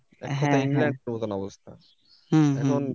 হ্যা হ্যা হম